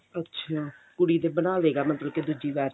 ਅੱਛਾ ਕੁੜੀ ਦੇ ਬਣਾਦੇਗਾ ਫੇਰ ਮਤਲਬ ਕੇ ਦੁੱਜੀ ਵਾਰ ਚ